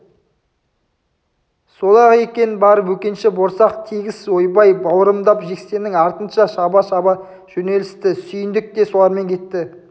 сол-ақ екен бар бөкенші борсақ тегіс ойбай бауырымдап жексеннің артынан шаба-шаба жөнелісті сүйіндік те солармен кетті